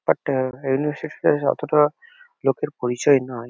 But university টা অতোটা লোকের পরিচয় নাই।